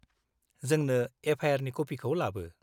-जोंनो FIR नि कपिखौ लाबो।